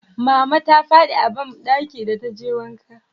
mama ta fadi a banɗaki da ta je wanka